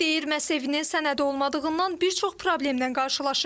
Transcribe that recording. Deyir mən evinin sənədi olmadığından bir çox problemdən qarşılaşır.